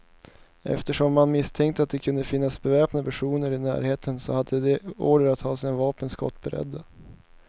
Eftersom man misstänkte att det kunde finnas beväpnade personer i närheten, så hade de order att ha sina vapen skottberedda.